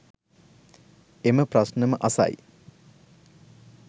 එම ප්‍රශ්නම අසයි.